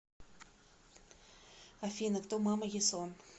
афина кто мама ясон